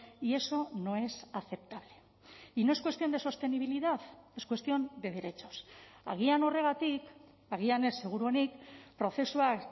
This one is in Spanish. y eso no es aceptable y no es cuestión de sostenibilidad es cuestión de derechos agian horregatik agian ez seguruenik prozesuak